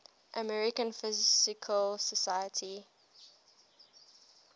american physical society